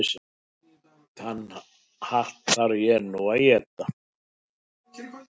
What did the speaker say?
Þann hatt þarf ég nú að éta.